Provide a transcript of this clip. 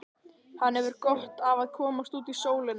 Hann hefur gott af að komast út í sólina.